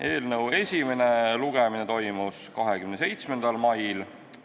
Eelnõu esimene lugemine toimus 27. mail.